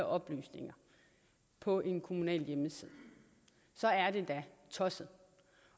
oplysninger på en kommunal hjemmeside så er det da tosset